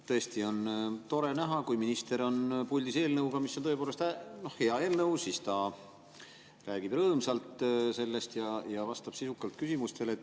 Tõesti on tore näha, kui minister on puldis eelnõuga, mis on tõepoolest hea eelnõu – siis ta räägib sellest rõõmsalt ja vastab sisukalt küsimustele.